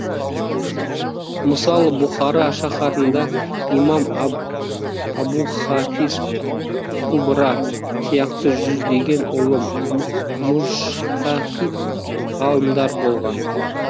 мысалы бұхара шаһарында имам абухафиз кубра сияқты жүздеген ұлы мужтаһид ғалымдар болған